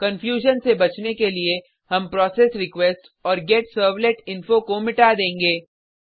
confusion से बचने के लिए हम प्रोसेसरीक्वेस्ट और गेटसर्वलेटिंफो को मिटा देंगे